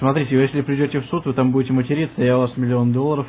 смотрите если придёте в суд и там будет материться я у вас миллион долларов